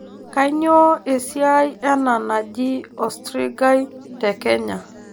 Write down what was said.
Kainyioo esiaai ena naji osrigai te Kenya.